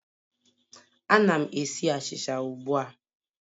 Ana m esi achịcha ugbu a